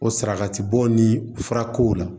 O saraka bɔ ni fura kow la